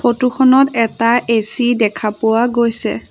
Photo খনত এটা AC দেখা পোৱা গৈছে।